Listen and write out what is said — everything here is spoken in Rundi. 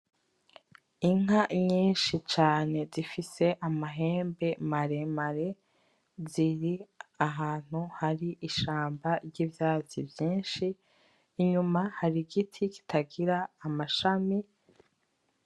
Inka nyinshi cane zifise amahembe maremare ziri ahantu hari ishamba ryivyatsi vyinshi inyuma hari igiti kitagira amashami ,